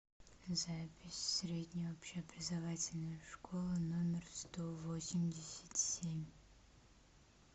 запись средняя общеобразовательная школа номер сто восемьдесят семь